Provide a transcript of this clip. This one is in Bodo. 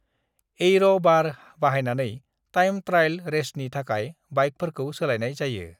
एयर' बार बाहायनानै टाइम ट्रायल रेसनि थाखाय बाइकफोरखौ सोलायनाय जायो।